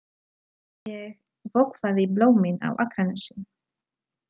Ég vökvaði blómin á Akranesi.